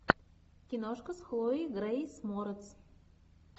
киношка с хлоей грейс морец